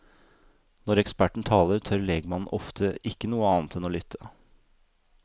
Når eksperten taler, tør legmannen ofte ikke noe annet enn å lytte.